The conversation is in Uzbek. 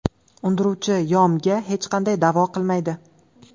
undiruvchi Yo.M.ga hech qanday da’vo qilmaydi.